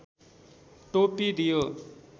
टोपी दियो